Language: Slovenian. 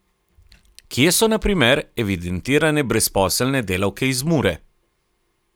Kje so na primer evidentirane brezposelne delavke iz Mure?